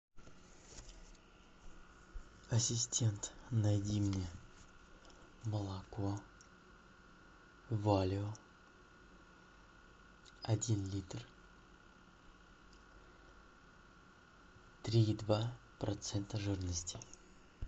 ассистент найди мне молоко валио один литр три и два процента жирности